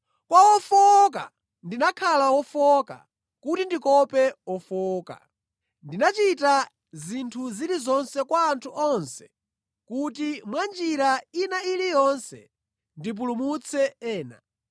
Kwa ofowoka ndimakhala wofowoka, kuti ndikope ofowoka. Ndimachita zinthu zilizonse kwa anthu onse kuti mwanjira ina iliyonse ndipulumutse ena.